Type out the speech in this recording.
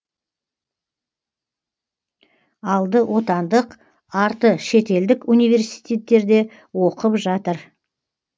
алды отандық арты шетелдік университеттерде оқып жатыр